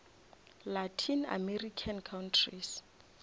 latin american countries